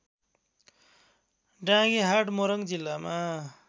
डाँगीहाट मोरङ जिल्लामा